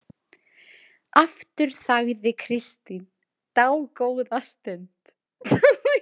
Aftur þagði Kristín dágóða stund.